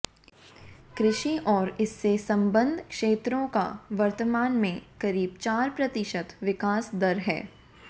कृषि और इससे सम्बद्ध क्षेत्रों का वर्तमान में करीब चार प्रतिशत विकास दर है